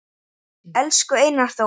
Enginn hafði trú á